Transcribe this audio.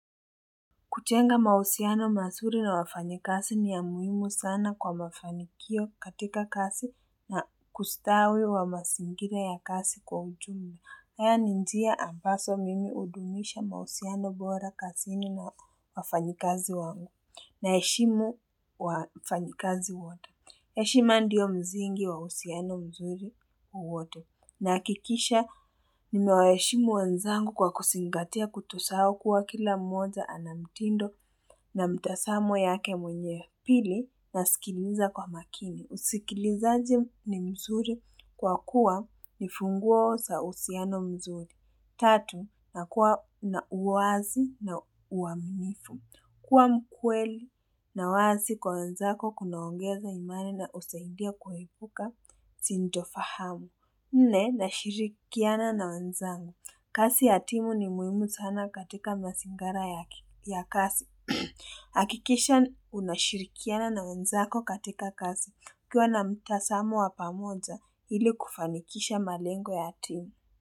Kujenga mahusiano mazuri na wafanyakazi ni ya muhimu sana kwa mafanikio katika kazi na kustawi wa mazingira ya kazi kwa ujumla. Haya njia ambazo mimi hudumisha mahusiano bora kazini na wafanyekazi wangu na heshimu wafanyikazi wote. Heshimu ndiyo msngi wa uhusiano mzuri wote. Na hakikisha, nimewaheshimu wenzangu kwa kuzingatia kutosahau kuwa kila mmoja anamtindo na mtazamo yake mwenye pili na sikiliza kwa makini. Usikilizaji ni mzuri kwa kuwa nifunguo za uhusiano mzuri. Tatu, na kuwa na uwazi na uaminifu. Kwa mkweli na uwazi kwa wanzako kunaongeza imani na husaidia kuepuka, sintofahamu. Nne, nashirikiana na wanzangu. Kasi ya timu ni muhimu sana katika mazingara ya kasi. Akikisha unashirikiana na wanzako katika kazi ukiwa na mtazamo wapamoja ili kufanikisha malengo ya timu.